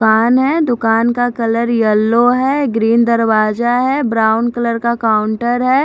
दुकान है दुकान का कलर येल्लो है ग्रीन दरवाजा है ब्राउन कलर का काउंटर है।